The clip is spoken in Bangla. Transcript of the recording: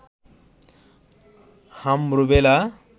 হাম-রুবেলা